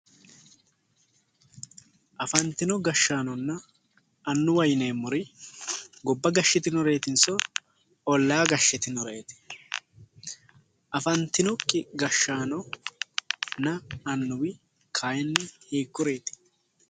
Afannitino gashaanona annuwa yineemori gobba gashitinoreetinso olla gashitinoreeti? Afanitinnoki gashaanona annuwi kaayini hiikuriiti?